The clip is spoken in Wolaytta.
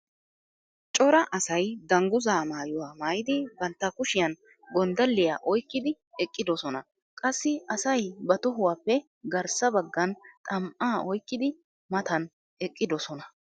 cora asay danguzzaa maayuwa maayidi bantta kushiyan gonddalliya oyqqidi eqqidosona. qassi asay ba tohuwappe garssa bagan xam'aa oyqqidi maatan eqqidosona.